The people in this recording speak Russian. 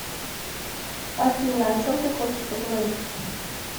афина о чем ты хочешь поговорить